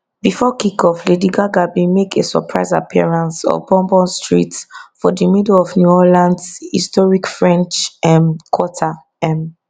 bifor kickoff lady gaga bin make a surprise appearance on bourbon street for di middle of new orleans historic french um quarter um